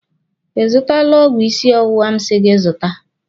Ị zụtala ọgwụ ịsị ọwụwa m si gị zụta?